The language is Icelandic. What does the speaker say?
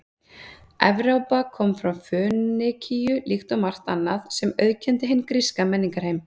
Evrópa kom frá Fönikíu líkt og margt annað sem auðkenndi hinn gríska menningarheim.